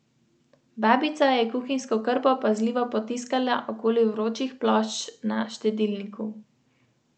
Ni kaj, za trenutek zapreš oči, jih spet odpreš in greš naprej.